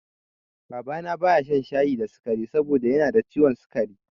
Baba na baya shan shayi da sikari saboda yanada ciwon sikari